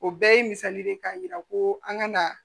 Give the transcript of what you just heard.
O bɛɛ ye misali de ye k'a yira ko an kana